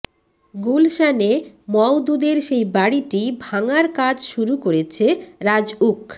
গুলশানে মওদুদের সেই বাড়িটি ভাঙার কাজ শুরু করেছে রাজউক